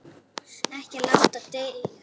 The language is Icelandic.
Ekki láta deigan síga.